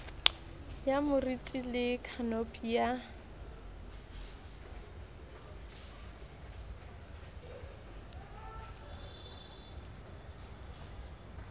ya moriti le khanopi ya